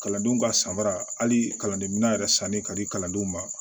Kalandenw ka sanbara hali kalandenminɛn yɛrɛ sanni ka di kalandenw ma